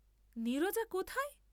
নীরজা কোথায়!